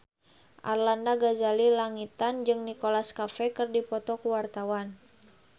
Arlanda Ghazali Langitan jeung Nicholas Cafe keur dipoto ku wartawan